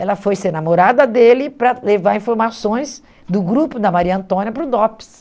Ela foi ser namorada dele para levar informações do grupo da Maria Antônia para o DOPS.